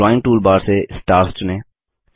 drawing toolbar से stars चुनें